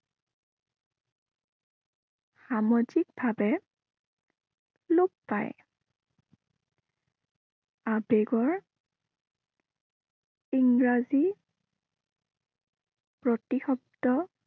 সামাজিক ভাৱে লোপ পায়। আবেগৰ ইংৰাজী প্ৰতিশব্দ